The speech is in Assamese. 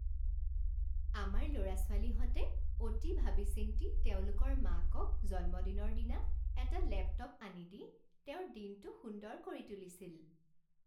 আমাৰ ল'ৰা ছোৱালীহঁতে অতি ভাবি চিন্তি তেওঁলোকৰ মাকক জন্মদিনৰ দিনা এটা লেপটপ আনি দি তেওঁৰ দিনটো সুন্দৰ কৰি তুলিছিল